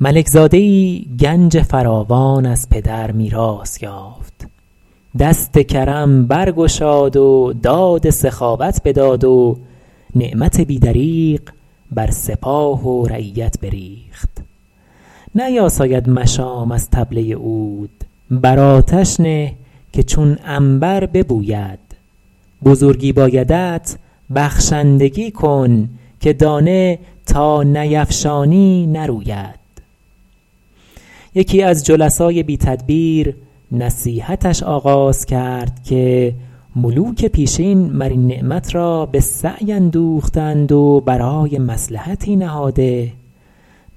ملک زاده ای گنج فراوان از پدر میراث یافت دست کرم برگشاد و داد سخاوت بداد و نعمت بی دریغ بر سپاه و رعیت بریخت نیاساید مشام از طبله عود بر آتش نه که چون عنبر ببوید بزرگی بایدت بخشندگی کن که دانه تا نیفشانی نروید یکی از جلسای بی تدبیر نصیحتش آغاز کرد که ملوک پیشین مر این نعمت را به سعی اندوخته اند و برای مصلحتی نهاده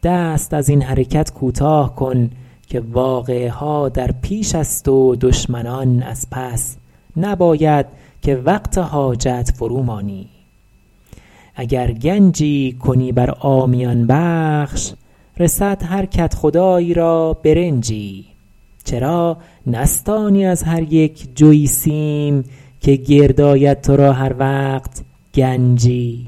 دست از این حرکت کوتاه کن که واقعه ها در پیش است و دشمنان از پس نباید که وقت حاجت فرو مانی اگر گنجی کنی بر عامیان بخش رسد هر کدخدایی را برنجی چرا نستانی از هر یک جوی سیم که گرد آید تو را هر وقت گنجی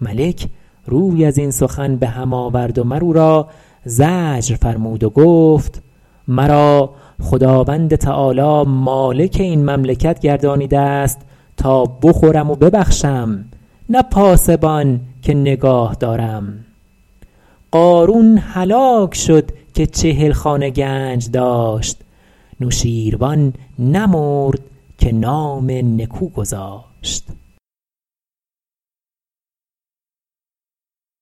ملک روی از این سخن به هم آورد و مر او را زجر فرمود و گفت مرا خداوند تعالیٰ مالک این مملکت گردانیده است تا بخورم و ببخشم نه پاسبان که نگاه دارم قارون هلاک شد که چهل خانه گنج داشت نوشین روان نمرد که نام نکو گذاشت